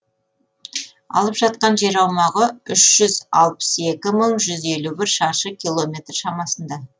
алып жатқан жер аумағы үш жүз алпыс екі мың жүз елу бір шаршы километр шамасында